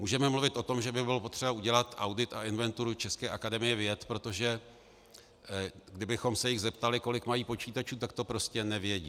Můžeme mluvit o tom, že by bylo potřeba udělat audit a inventuru české Akademie věd, protože kdybychom se jich zeptali, kolik mají počítačů, tak to prostě nevědí.